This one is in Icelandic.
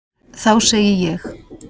Þá segi ég.